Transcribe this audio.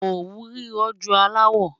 Ọwú rírọ jù àláwọ̀.